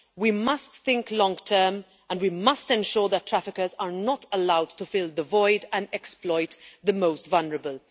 We must think long term and we must ensure that traffickers are not allowed to fill the void and exploit the most vulnerable.